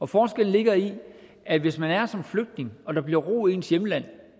forskellen ligger i at hvis man er her som flygtning og der bliver ro i ens hjemland